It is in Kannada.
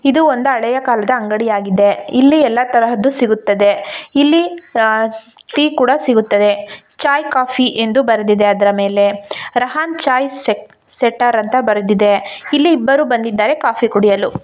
ಇದು ಒಂದು ಹಳೆಯ ಕಾಲದ ಅಂಗಡಿಯಾಗಿದೆ ಇಲ್ಲಿ ಎಲ್ಲಾ ತರಹದ್ದು ಸಿಗುತ್ತದೆ ಇಲ್ಲಿಅಹ್ ಟೀ ಕೂಡ ಸಿಗುತ್ತದೆ ಚಾಯ್ ಕಾಫಿ ಎಂದು ಬರೆದಿದ್ದಾರೆ ಅದರ ಮೇಲೆ ರಹನ್ ಚಾಯ್ ಸೆ ಸೆಟ್ಟರ್ ಅಂತ ಬರೆದಿದೆ ಇಲ್ಲಿ ಇಬ್ಬರು ಬಂದಿದ್ದಾರೆ ಕಾಫಿ ಕುಡಿಯಲು.